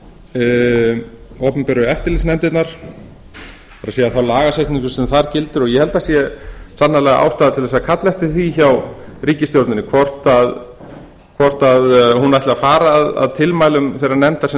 yfir opinberu eftirlitsnefndirnar og síðan þá lagasetningu sem þar gildir ég held að það sé sannarlega ástæða til að kalla eftir því hjá ríkisstjórninni hvort hún ætli að fara að tilmælum þeirrar nefndar sem